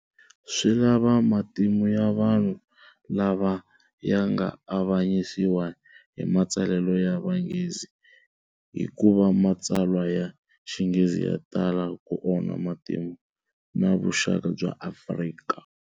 Swi lava matimu ya vanhu lava ya nga avanyisiwi hi matsalelo ya vanghezi hi kuva matsalwa ya xinghezi ya tala ku onha matimu na vuxaka bya Afrika.